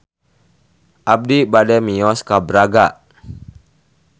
Abi bade mios ka Braga